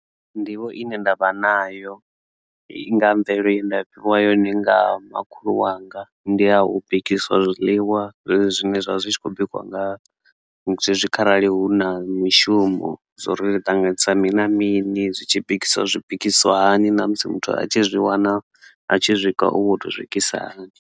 Nḓivho ine ndavha nayo nga mvelelo ye nda fhiwa yone nga makhulu wanga ndi a u bikisiwa zwiḽiwa zwezwi zwine zwa zwi tshi khou bikiwa nga musi zwezwi kharali hu na mishumo zwo ri ṱanganisa mini na mini zwitshi bikisiwa zwi bikisiwa hani na musi muthu a tshi zwi wana a tshi swika u woto swikisa hani.